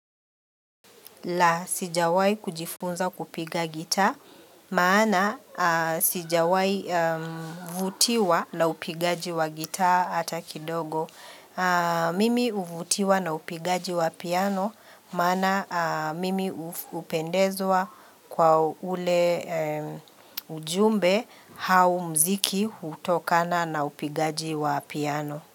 La sijawahi kujifunza kupiga gitaa, maana sijawahi vutiwa la upigaji wa gitaa hata kidogo. Mimi huvutiwa na upigaji wa piano, maana mimi hupendezwa kwa ule ujumbe au mziki hutokana na upigaji wa piano.